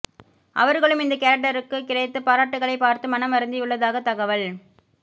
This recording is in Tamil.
அவர்களும் இந்த கேரக்டருக்கு கிடைத்த பாராட்டுக்களை பார்த்து மனம் வருந்தியுள்ளதாக தகவல்